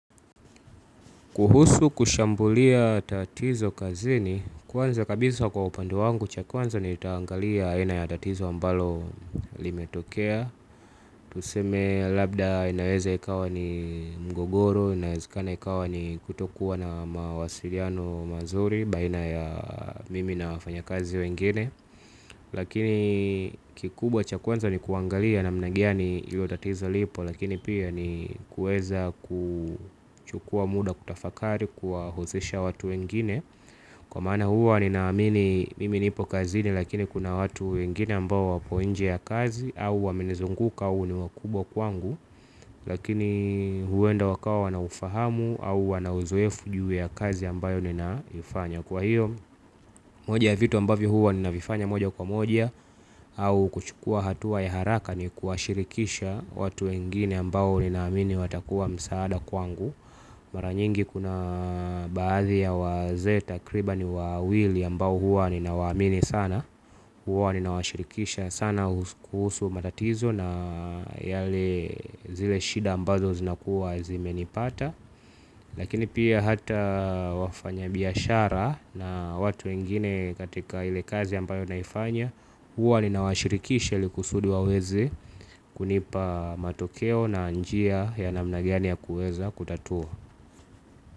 Kuhusu kushambulia tatizo kazini, kwanza kabisa kwa upande wangu, chakwanza ni nitangalia aina ya tatizo ambalo limetokea. Tuseme labda inaweza ikawa ni mgogoro, inaweza ikawa ni kutokuwa na mawasiriano mazuri, baina ya mimi na wafanya kazi wengine. Lakini kikubwa cha kwanza ni kuangalia namna gani ilotatizo lipo. Lakini pia ni kueza kuchukua muda kutafakari kuwahuzisha watu wengine. Kwa mana huwa ni naamini mimi nipo kazini lakini kuna watu wengine ambao wapo inje ya kazi au wamenizunguka au ni wakubwa kwangu. Lakini huwenda wakawa wanaufahamu au wana uzoefu juu ya kazi ambayo ninaifanya. Kwa hiyo moja vitu ambavio huwa ninavifanya moja kwa moja au kuchukua hatua ya haraka ni kuwashirikisha watu wengine ambao ninamini watakuwa msaada kwangu. Maranyingi kuna baadhi ya waze takribani wawili ambao huwa ninawaamini sana huwa ninawashirikisha sana kuhusu matatizo na yale zile shida ambazo zinakuwa zimenipata. Lakini pia hata wafanya biyashara na watu wengine katika ile kazi ampayo naifanya. Uwa ni nawashirikisha ilikusudi waweza kunipa matokeo na njia ya namna gani ya kueza kutatua.